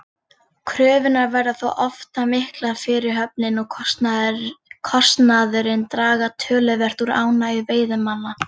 Kröfurnar verða þó oft það miklar að fyrirhöfnin og kostnaðurinn draga töluvert úr ánægju veiðimanna.